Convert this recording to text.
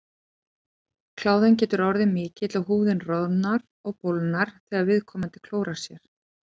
Kláðinn getur orðið mikill og húðin roðnað og bólgnað þegar viðkomandi klórar sér.